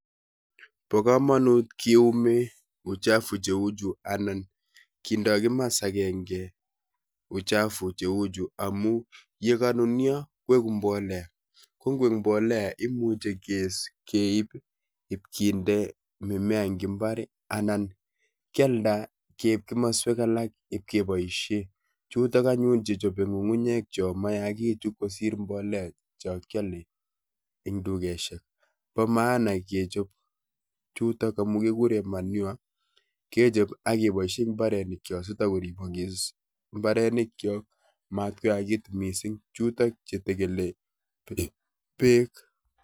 Bokomonut kee nyumii uchafu cheuchu anan kendoi kimasta agenge uchafu che uchu amuu yee kanun nyo koiku mbolea ko ngoik mbolea ko komechei keib ib kendoi mimea eng ibaar anan kealda keib kimaswek alak ak ib keboisei chutok che nyae ng'ung'unyek mayachekitu kosir mbolea Cha kiale eng dukeshek bo maana me chob chutok kekure manure kechob ak keboisei koik imbolea si takoribok ibaarenik matoyakekitu chutok che tegelii beek